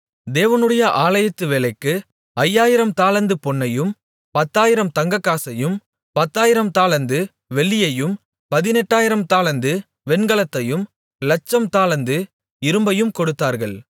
தேவனுடைய ஆலயத்து வேலைக்கு ஐயாயிரம் தாலந்து பொன்னையும் பத்தாயிரம் தங்கக்காசையும் பத்தாயிரம் தாலந்து வெள்ளியையும் பதிணெட்டாயிரம் தாலந்து வெண்கலத்தையும் லட்சம் தாலந்து இரும்பையும் கொடுத்தார்கள்